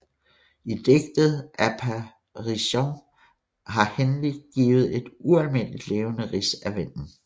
I digtet Apparition har Henley givet et ualmindelig levende rids af vennen